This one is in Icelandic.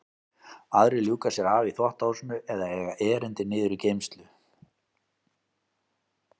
Aðrir ljúka sér af í þvottahúsinu eða eiga erindi niður í geymslu.